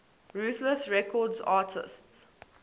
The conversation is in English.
ruthless records artists